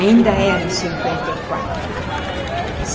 Ainda era em cinquenta e quatro.